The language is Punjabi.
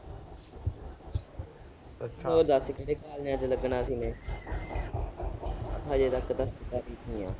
ਹੋਰ ਦੱਸ ਕਿਹੜੇ ਕਾਲਜਾਂ ਚ ਲੱਗਣਾ ਸੀ ਮੈਂ ਹਜੇ ਤੱਕ ਤਾਂ ਸਰਕਾਰੀ ਚ ਹੀ ਹਾਂ।